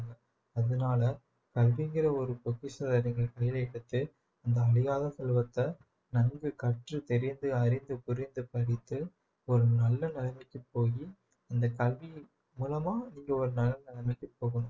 அதனால கல்விங்கற ஒரு பொக்கிஷத்தை நீங்க கைல எதுத்து அந்த அழியாத செல்வத்தை நன்கு கற்று தெரிந்து அறிந்து புரிந்து படித்து ஒரு நல்ல நிலைமைக்கு போயி இந்த கல்வியின் மூலமா நீங்க ஒரு நல்ல நிலைமைக்கு போகனும்